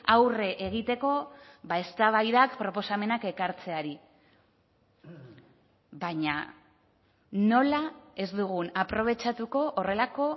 aurre egiteko eztabaidak proposamenak ekartzeari baina nola ez dugun aprobetxatuko horrelako